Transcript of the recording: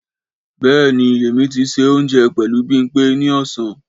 Béè ni, èmi ti ṣe òunjẹ pẹlu Bimpe ni ọ̀sán